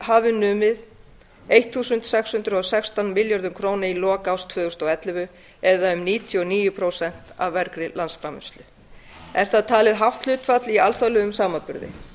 hafi numið sextán hundruð og sextán milljarða króna í lok árs tvö þúsund og ellefu eða sem nemur níutíu og níu prósent af af er það talið hátt hlutfall í alþjóðlegum samanburði